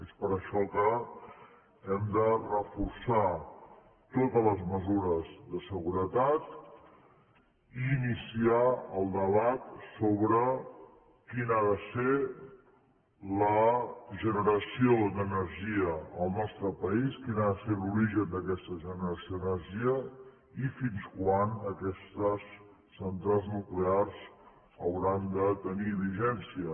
és per això que hem de reforçar totes les mesures de seguretat i iniciar el debat sobre quina ha de ser la generació d’energia al nostre país quin ha de ser l’origen d’aquesta generació d’energia i fins quan aquestes centrals nuclears hauran de tenir vigència